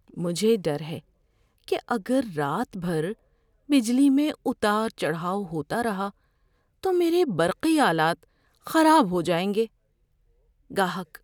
مجھے ڈر ہے کہ اگر رات بھر بجلی میں اتار چڑھاؤ ہوتا رہا تو میرے برقی آلات خراب ہو جائیں گے۔ (گاہک)